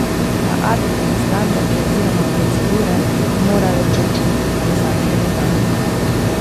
Na Adrijine standarde oziroma procedure bi morale preiti tudi posadke letal.